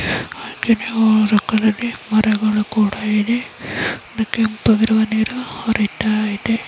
ಗಿಡಗಳೂ ಮರಗಳು ಕೂಡ ಇದೆ ಒಂದು ಕೆಂಪಾಗಿರುವ ನೀರು ಹರಿತ ಇದೆ .